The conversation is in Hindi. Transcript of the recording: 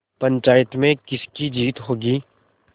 पंचायत में किसकी जीत होगी